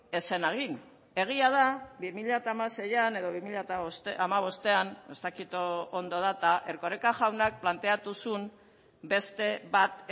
ez zen egin egia da bi mila hamaseian edo bi mila hamabostean ez dakit ondo data erkoreka jaunak planteatu zuen beste bat